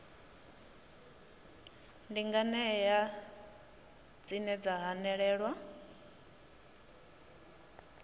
ndi nganea dzine dza hanelelwa